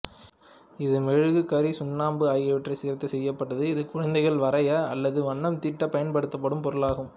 இது மெழுகு கரி சுண்ணாம்பு ஆகியவற்றை சேர்த்து செய்யப்பட்டது இது குழந்தைகள் வரைய அல்லது வண்ணம்தீட்ட பயன்படுத்தப்படும் பொருள் ஆகும்